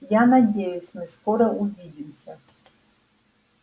я надеюсь мы скоро увидимся